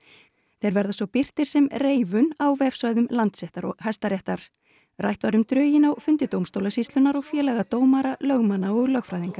þeir verða svo birtir sem reifun á vefsvæðum Landsréttar og Hæstaréttar rætt var um drögin á fundi dómstólasýslunnar og félaga dómara lögmanna og lögfræðinga